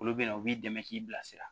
Olu bɛ na u b'i dɛmɛ k'i bilasira